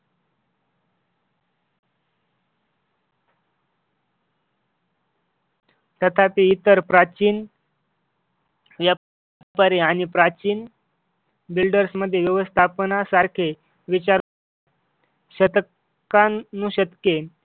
तथापि इतर प्राचीन या परी आणि प्राचीन builders मध्ये व्यवस्थापनासारखे विचार शतकां शतके